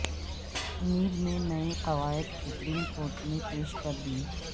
NAB نے نئے قوائد سپریم کورٹ میں پیش کردیے